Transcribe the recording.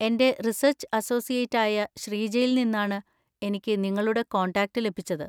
എന്‍റെ research associate ആയ ശ്രീജയിൽ നിന്നാണ് എനിക്ക് നിങ്ങളുടെ കോൺടാക്റ്റ് ലഭിച്ചത്.